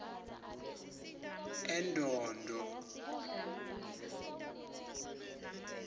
endondo